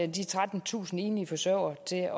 de trettentusind enlige forsørgere til at